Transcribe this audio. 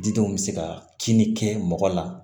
Didenw bɛ se ka kini kɛ mɔgɔ la